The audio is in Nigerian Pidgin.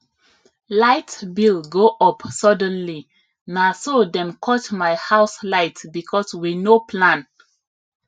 light bill go up suddenly na so dem cut my house light because we no plan